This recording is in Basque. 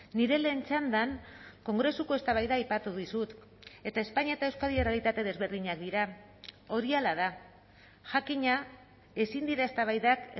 nire lehen txandan kongresuko eztabaida aipatu dizut eta espainia eta euskadi errealitate desberdinak dira hori hala da jakina ezin dira eztabaidak